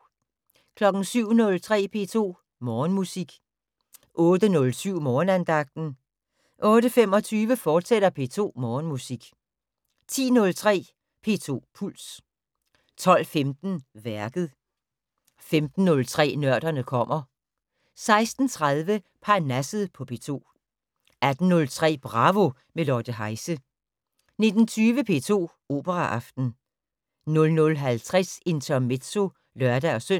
07:03: P2 Morgenmusik 08:07: Morgenandagten 08:25: P2 Morgenmusik, fortsat 10:03: P2 Puls 12:15: Værket 15:03: Nørderne kommer 16:30: Parnasset på P2 18:03: Bravo - med Lotte Heise 19:20: P2 Operaaften 00:50: Intermezzo (lør-søn)